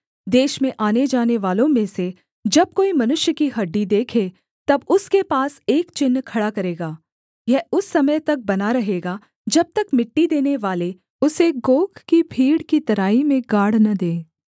देश में आने जानेवालों में से जब कोई मनुष्य की हड्डी देखे तब उसके पास एक चिन्ह खड़ा करेगा यह उस समय तक बना रहेगा जब तक मिट्टी देनेवाले उसे गोग की भीड़ की तराई में गाड़ न दें